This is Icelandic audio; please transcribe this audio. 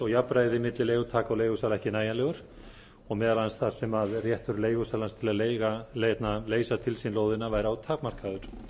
og jafnræði milli leigutaka og leigusala ekki nægjanlegt og meðal annars að réttur leigusalans til þess að leysa til sín lóðina væri of takmarkaður